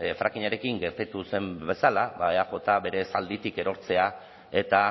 frackingarekin gertatu zen bezala ba eaj bere zalditik erortzea eta